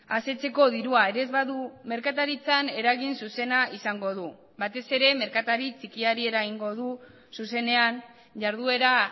asetzeko dirua ere ez badu merkataritzan eragin zuzena izango du batez ere merkatari txikiari eragingo du zuzenean jarduera